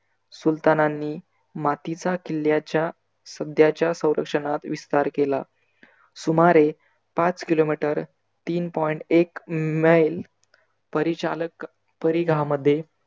सुल्तानांनी मातीचा किल्याच्या सध्याच्या संरक्षनात विस्तार केला. सुमारे पाच KILOMETER तीन point एक मैल परिचालक परिघामध्ये